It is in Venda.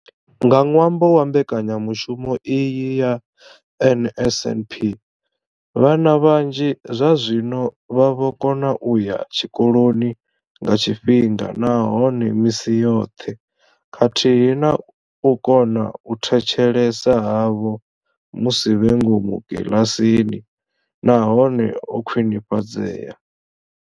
Nga ṅwambo wa mbekanya mushumo iyi ya NSNP, vhana vhanzhi zwazwino vha vho kona u ya tshikoloni nga tshifhinga nahone misi yoṱhe khathihi na uri u kona u thetshelesa havho musi vhe ngomu kiḽasini na hone ho khwini fhadzea.